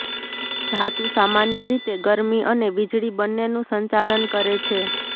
ધાતુ સામાન્ય રીતે ગરમી અને વીજળી બંનેનું સંચાલન કરે છે